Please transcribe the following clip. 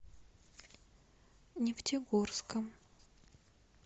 нефтегорском